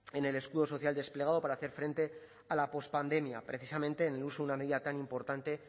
en el escudo social desplegado para hacer frente a la post pandemia precisamente en el uso de una medida tan importante